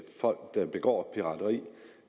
folk der begår pirateri